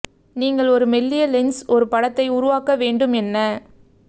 நீங்கள் ஒரு மெல்லிய லென்ஸ் ஒரு படத்தை உருவாக்க வேண்டும் என்ன